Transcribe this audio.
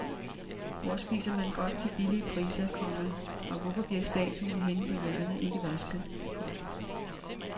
Hvor spiser man godt til billige priser, komma og hvorfor bliver statuen henne på hjørnet ikke vasket. punktum